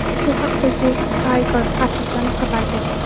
Bu haqda "The Thaiger"ga asoslanib xabar berilgan.